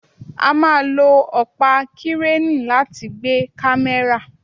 A máà lo ọpa Kireni láti gbe kamẹra